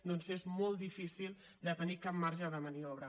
doncs és molt difícil de tenir cap marge de maniobra